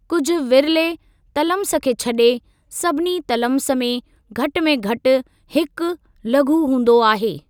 कुझ विरले तलम्स खे छॾे, सभिनी तलम्स में घटि में घटि हिकु लघु हूंदो आहे।